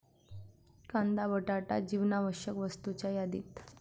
कांदा, बटाटा जीवनावश्यक वस्तूंच्या यादीत